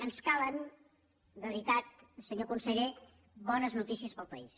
ens calen de veritat senyor conseller bones notícies per al país